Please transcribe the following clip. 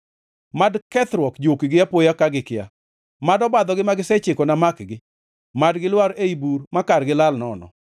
mad kethruok jukgi apoya ka gikia mad obadhogi ma gisechikona makgi; mad gilwar ei bur ma kargi lal nono.